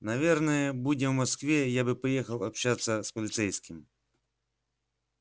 наверное будь я в москве я бы поехал общаться с полицейским